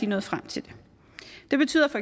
nået frem til den det betyder